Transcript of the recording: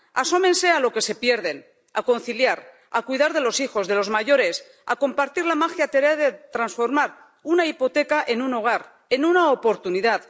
Asómense a lo que se pierden a conciliar, a cuidar de los hijos, de los mayores, a compartir la mágica tarea de transformar una hipoteca en un hogar, en una oportunidad.